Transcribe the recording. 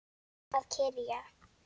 Að kyrja.